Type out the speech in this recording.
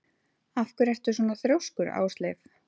Af hverju ertu svona þrjóskur, Ásleif?